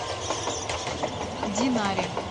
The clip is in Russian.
динаре